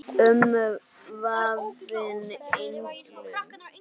Umvafin englum.